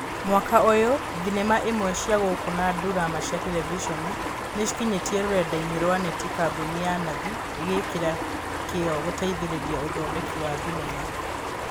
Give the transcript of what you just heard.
Mwaka ũyũ thenema imwe cia gũkũ na ndurama cia terevishoni niciĩkinyĩtie rũrendainĩ rwa neti Kambuni ya Nathi ĩgĩĩkĩra kĩo gũteithĩrĩria ũthondeki wa thenema.